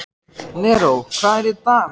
Neró, hvað er á dagatalinu í dag?